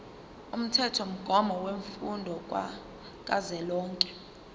umthethomgomo wemfundo kazwelonke